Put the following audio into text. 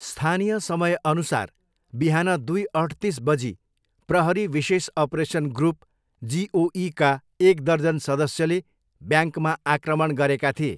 स्थानीय समयअनुसार बिहान दुई अठतिस बजी प्रहरी विशेष अपरेसन ग्रुप, जिओईका एक दर्जन सदस्यले ब्याङ्कमा आक्रमण गरेका थिए।